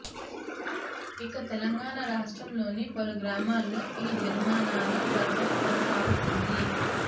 ఇక తెలంగాణ రాష్ట్రంలోని పలు గ్రామాల్లో ఈ జరిమానాల పర్వం కొనసాగుతోంది